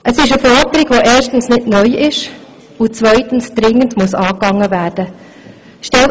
Es ist eine Forderung, die erstens nicht neu ist und die zweitens dringend angegangen werden muss.